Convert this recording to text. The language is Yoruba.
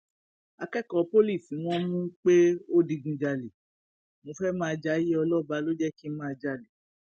akẹkọọ pọlì tí wọn mú pé ó digunjalè mo fẹẹ máa jayé ọlọba ló jẹ kí n máa jalè